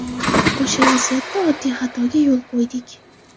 O‘sha vaziyatda oddiy xatoga yo‘l qo‘ydik.